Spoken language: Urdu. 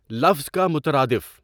لفظ کا مترادف